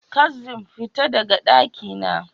Kaszim, fita daga dakina